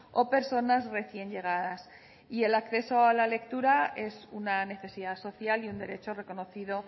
o personas recién llegadas y el acceso a la lectura es una necesidad social y un derecho reconocido